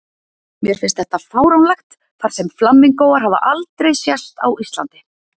Mér finnst þetta fáránlegt þar sem flamingóar hafa aldrei sést á Íslandi